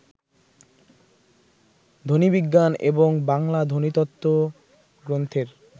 ধ্বনিবিজ্ঞান ও বাংলা ধ্বনিতত্ত্ব গ্রন্থের